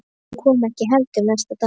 Hún kom heldur ekki næsta dag.